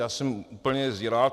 Já jsem úplně zíral.